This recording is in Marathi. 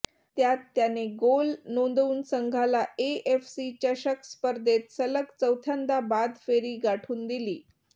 त्यात त्याने गोल नोंदवून संघाला एएफसी चषक स्पर्धेत सलग चौथ्यांदा बाद फेरी गाठून दिली